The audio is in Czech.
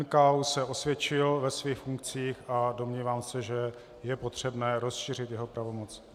NKÚ se osvědčil ve svých funkcích a domnívám se, že je potřebné rozšířit jeho pravomoci.